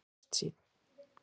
Sindri: Ertu bjartsýnn?